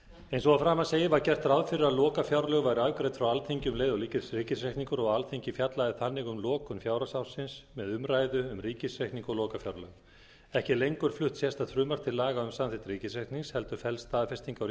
eins og að framan segir var gert ráð fyrir að lokafjárlög væru afgreidd frá alþingi um leið og ríkisreikningur og að alþingi fjallaði þannig um lokun fjárhagsársins með umræðu um ríkisreikning og lokafjárlög ekki er lengur flutt sérstakt frumvarp til laga um samþykkt ríkisreiknings heldur felst staðfesting